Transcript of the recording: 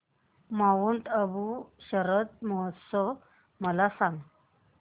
Mount Abu शरद महोत्सव मला सांग